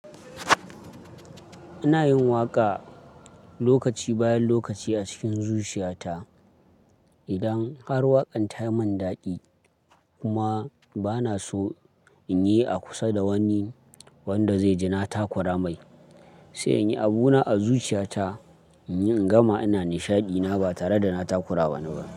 Ina yin waƙa lokaci bayan lokaci a cikin zuciyata. Idan har waƙan ta yi man daɗi kuma bana so in yi a kusa da wani wanda zai jinata kura mai. Sai in yi abuna a zuciyata, in yi in gama ina nishaɗi na ba tare da na takura wa wani ba.